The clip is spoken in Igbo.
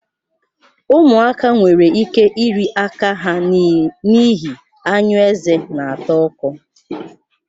Ụmụaka nwere ike iri aka ha n'ihi anyụ eze na-ata ọkọ